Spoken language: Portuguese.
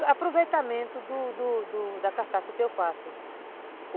E aproveitamento do do da carcaça que eu faço.